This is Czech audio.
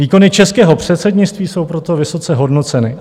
Výkony českého předsednictví jsou proto vysoce hodnoceny.